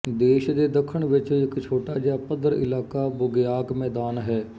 ਦੇਸ਼ ਦੇ ਦੱਖਣ ਵਿੱਚ ਇੱਕ ਛੋਟਾ ਜਿਹਾ ਪੱਧਰ ਇਲਾਕਾ ਬੁਗੇਆਕ ਮੈਦਾਨ ਹੈ